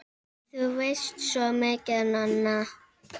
Þú veist svo mikið, Nanna!